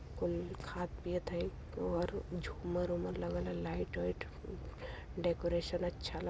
कोइ खात-पिअत हई। वोहर झूमर-वुमर लगल ह। लाइट वाइट डेकोरेशन अच्छा --